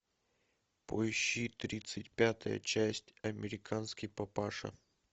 поищи тридцать пятая часть американский папаша